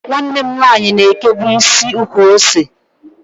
Nwanne m nwanyi na ekebu isi ukwu-ose.